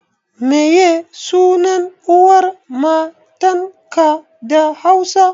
Meye sunan uwar matanka da Hausa?